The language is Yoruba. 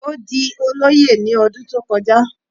Ó di olóyè ní ọdún tó kọjá